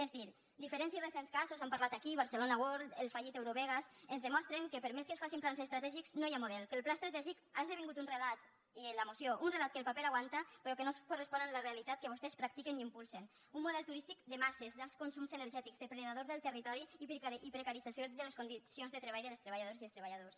és a dir diferents i recents casos s’han parlat aquí barcelona world el fallit eurovegas ens demostren que per més que es facin plans estratègics no hi ha model que el pla estratègic ha esdevingut un relat i en la moció un relat que el paper aguanta però que no es correspon amb la realitat que vostès practiquen i impulsen un model turístic de masses d’alts consums energètics depredador del territori i precaritzador de les condicions de treball de les treballadores i els treballadors